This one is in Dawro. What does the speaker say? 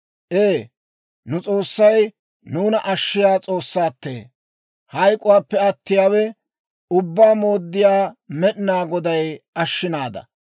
Ee, nu S'oossay nuuna ashshiyaa S'oossaattee! Hayk'k'uwaappe attiyaawe, Ubbaa Mooddiyaa Med'inaa Goday ashshinada.